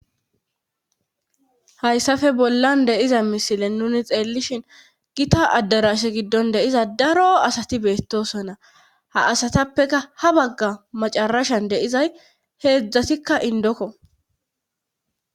Hayssafe bollan deiza misile nuni xeellishin gita addarashe giddon deiza daro asati beettosonna ha asatappeka ha bagga macarashan deizay heedzdzatikka indokko